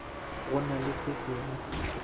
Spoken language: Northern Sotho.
go na le se sengwe